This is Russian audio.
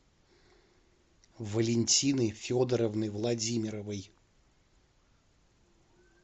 валентины федоровны владимировой